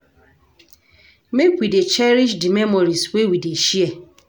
Make we dey cherish di memories wey we dey share.